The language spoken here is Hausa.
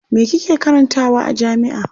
Me kike karantawa a jami'a?